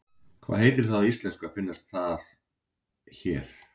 Hvað heitir það á íslensku og finnst það hér?